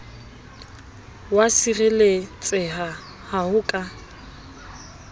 wa sireletseha ha ho ka